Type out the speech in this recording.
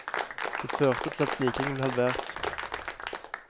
Det førte til at snikingen ble halvert.